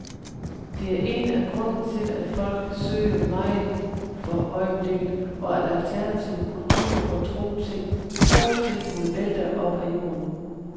Det er en af grundene til, at folk søger meget for øjeblikket, og at alternative kulturer og trostilbud vælter op af jorden.